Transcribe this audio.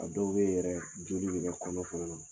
A dɔw bɛ ye yɛrɛ joli bɛ kɛ kɔnɔ fana na.